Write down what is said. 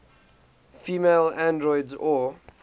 female androids or